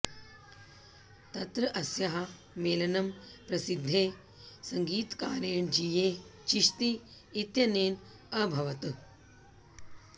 तत्र अस्याः मेलनं प्रसिद्धे सङ्गीतकारेण जीये चिश्ती इत्यनेन अभवत्